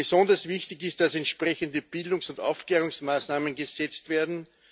Besonders wichtig ist, dass entsprechende Bildungs und Aufklärungsmaßnahmen gesetzt werden.